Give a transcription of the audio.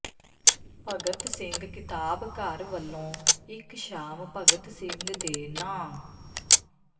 ਭਗਤ ਸਿੰਘ ਕਿਤਾਬ ਘਰ ਵਲੋਂ ਇਕ ਸ਼ਾਮ ਭਗਤ ਸਿੰਘ ਦੇ ਨਾਂਅ